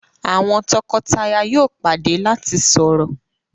àwọn toko-taya yóò pàdé lati sọrọ.